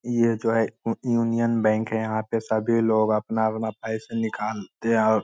ये जो है ए यूनियन बैंक है यहां पे सभी लोग अपना-अपना पैसा निकालते हैं और --